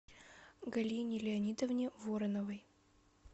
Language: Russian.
галине леонидовне вороновой